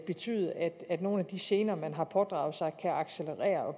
betyde at nogle af de gener man har pådraget sig kan accelerere og